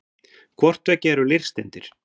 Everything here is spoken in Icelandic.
hvort tveggja eru leirsteindir